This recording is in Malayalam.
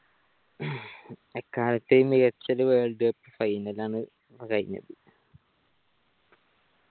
എക്കാലത്തെയും മികച്ച ഒരു world cup final ആണ് ഇപ്പൊ കഴിഞ്ഞത്